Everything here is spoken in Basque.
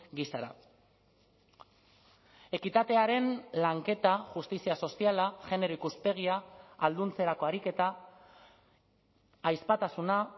gisara ekitatearen lanketa justizia soziala genero ikuspegia ahalduntzerako ariketa ahizpatasuna